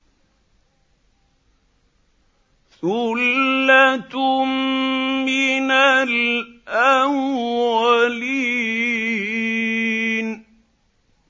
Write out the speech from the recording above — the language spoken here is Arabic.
ثُلَّةٌ مِّنَ الْأَوَّلِينَ